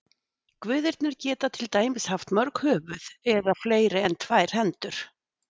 Guðirnir geta til dæmis haft mörg höfuð eða fleiri en tvær hendur.